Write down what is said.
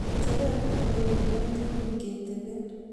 ngecheret nebo eunek ko nyumnyum ketebee